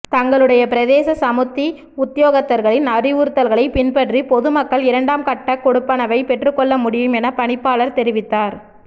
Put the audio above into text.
தங்களுடைய பிரதேச சமுத்தி உத்தியோகத்தர்களின் அறிவுறுத்தல்களை பின்பற்றி பொது மக்கள் இரண்டாம் கட்ட கொடுப்பனவை பெற்றுகொள்ளமுடியும் என பணிப்பாளர் தெரிவித்தார்